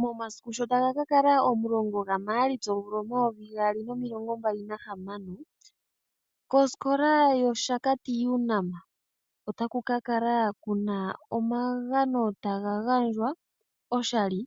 Momasiku sho taga ka kala omulongo gaMaalitsa omvula omayovi gaali nomilongo mbali nahamano, koskola yOshakati Unam otaku ka kala kuna omagano taga gandjwa oshali